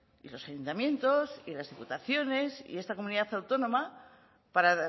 y los ayuntamientos y las diputaciones y esta comunidad autónoma para